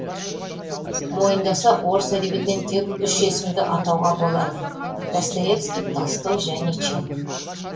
мойындаса орыс әдебиетінен тек үш есімді атауға болады достоевский толстой және чехов